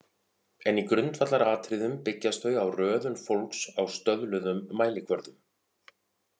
En í grundvallaratriðum byggjast þau á röðun fólks á stöðluðum mælikvörðum.